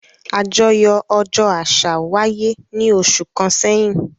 Àjọyọ̀ ọjọ́ àṣà wáyé ní oṣù kan sẹ́yìn